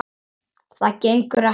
Það gengur ekki.